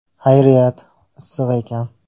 Xayriyat, issiq ekan.